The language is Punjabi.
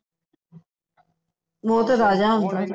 ਉਹ ਤੇ ਰਾਜਾ ਹੈ